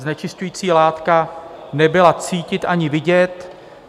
Znečišťující látka nebyla cítit ani vidět.